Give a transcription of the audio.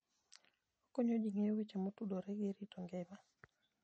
Okonyo ji ng'eyo weche motudore gi rito ngima.